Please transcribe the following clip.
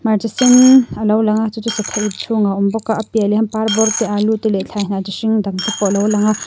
hmarcha sen a lo lang chu chu sathaip chhungah a awm bawk a a piah lehah hian parbawr te alu te leh thlaihnah chi hring dangte a lo lang bawk a.